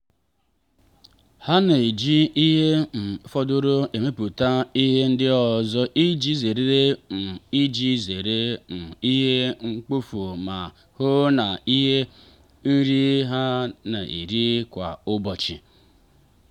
ha na-eji ihe um fọdụrụ emepụta ihe ndị ọzọ iji zere um iji zere um ihe mkpofu ma hụ na ha nri na-eri kwa ụbọchị.